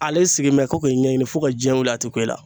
Ale sigilen in bɛ ko k'i ɲɛɲini fo ka diɲɛ wili a tɛ ku i la .